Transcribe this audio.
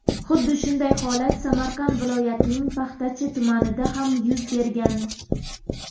Xuddi shunday holat Samarqand viloyatining Paxtachi tumanida ham yuz bergan.